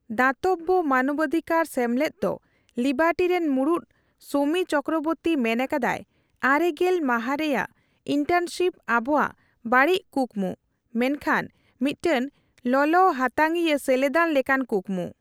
ᱫᱟᱛᱚᱵᱽᱵᱚ ᱢᱟᱱᱚᱵᱟᱫᱷᱤᱠᱟᱨ ᱥᱮᱢᱞᱮᱫ ᱫᱚ ᱞᱤᱵᱟᱨᱴᱤ ᱨᱮᱱ ᱢᱩᱲᱩᱫ ᱥᱚᱢᱤ ᱪᱚᱠᱨᱚᱵᱚᱨᱛᱤ ᱢᱮᱱ ᱟᱠᱟᱫᱟᱭ ᱟᱨᱮ ᱜᱮᱞ ᱢᱟᱦᱟ ᱨᱮᱭᱟᱜ ᱤᱱᱴᱟᱨᱱᱥᱤᱯ ᱟᱵᱚᱣᱟᱜ ᱵᱟᱹᱲᱤᱡ ᱠᱩᱠᱢᱩ ᱢᱮᱱᱠᱷᱟᱱ ᱢᱤᱫᱴᱟᱝ ᱞᱚᱞᱚ ᱦᱟᱛᱟᱝᱤᱭᱟᱹ ᱥᱮᱞᱮᱫᱟᱱ ᱞᱮᱠᱟᱱ ᱠᱩᱠᱢᱩ ᱾